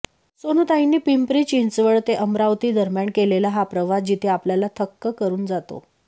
सोनूताईंनी पिंपरी चिंचवड ते अमरावती दरम्यान केलेला हा प्रवास जिथे आपल्याला थक्क करून जातो